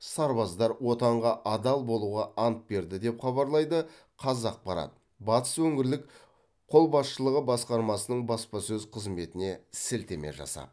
сарбаздар отанға адал болуға ант берді деп хабарлайды қазақпарат батыс өңірлік қолбасшылығы басқармасының баспасөз қызметіне сілтеме жасап